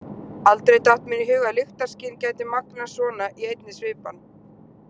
Aldrei datt mér í hug að lyktarskyn gæti magnast svona í einni svipan.